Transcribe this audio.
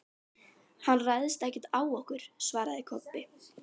Hann ræðst ekkert á okkur, svaraði Kobbi.